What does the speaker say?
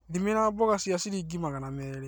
Thimĩra mboga ya ciringi magana merĩ